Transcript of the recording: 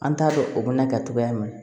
An t'a dɔn o bɛna kɛ cogoya min na